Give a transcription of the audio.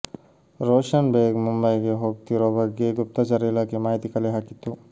ರೋಷನ್ ಬೇಗ್ ಮುಂಬೈಗೆ ಹೋಗ್ತಿರೋ ಬಗ್ಗೆ ಗುಪ್ತಚರ ಇಲಾಖೆ ಮಾಹಿತಿ ಕಲೆ ಹಾಕಿತ್ತು